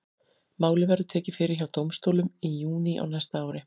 Málið verður tekið fyrir hjá dómstólum í júní á næsta ári.